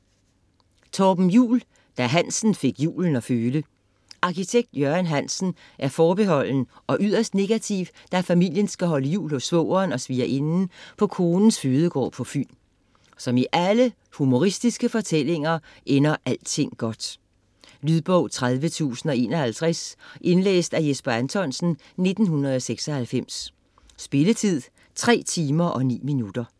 Juul, Torben: Da Hansen fik julen at føle Arkitekt Jørgen Hansen er forbeholden og yderst negativ, da familien skal holde jul hos svogeren og svigerinden på konens fødegård på Fyn. Som i alle humoristiske fortællinger ender alting godt. Lydbog 30051 Indlæst af Jesper Anthonsen, 1996. Spilletid: 3 timer, 9 minutter.